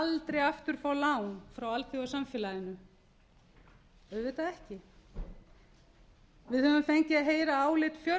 aldrei aftur fá lán frá alþjóðasamfélaginu auðvitað ekki við höfum fengið að heyra álit